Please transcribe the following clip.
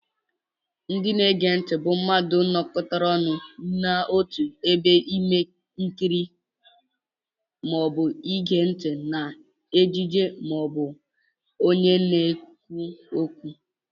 Ndị na-ege ntị bụ mmadụ nókọtára ọnụ n'ọtu ebe màkà ikiri maọbu ige ntị na ejije maọbu ọnye na-ekwu ókwú.